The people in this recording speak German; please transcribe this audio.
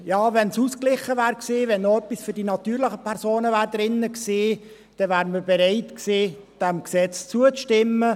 «Ja, wenn es ausgeglichen gewesen wäre, wenn noch etwas für die natürlichen Personen drin gewesen wäre, dann wäre man bereit gewesen, dem Gesetz zuzustimmen.